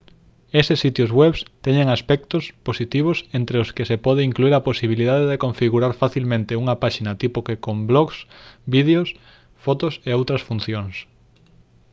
eses sitios web teñen aspectos positivos entre os que se pode incluír a posibilidade de configurar facilmente unha páxina tipo que con blogs vídeos fotos e outras funcións